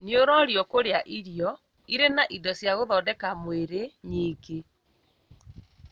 Nĩũrorio kũrĩa irio irĩ na indo cia gũthondeka mwĩrĩ nyingĩ